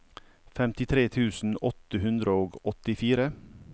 femtitre tusen åtte hundre og åttifire